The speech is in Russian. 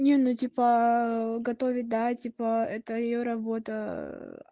не ну типа готовить да типа это её работа